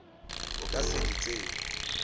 o ka se di tsebe